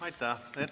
Aitäh!